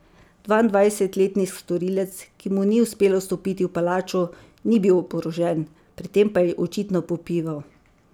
Dvaindvajsetletni storilec, ki mu ni uspelo vstopiti v palačo, ni bil oborožen, pred tem pa je očitno popival.